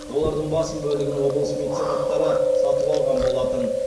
олардың басым бөлігін облыс меценаттары сатып алған болатын